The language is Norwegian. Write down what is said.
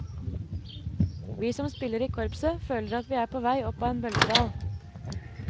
Vi som spiller i korpset føler at vi er på vei opp av en bølgedal.